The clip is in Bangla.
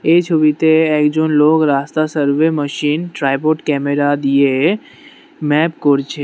এই ছবিতে একজন লোক রাস্তা সার্ভে মশিন ট্রাইপড ক্যামেরা দিয়ে ম্যাপ করছে।